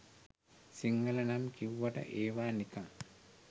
සිංහල නම් කිව්වට ඒවා නිකං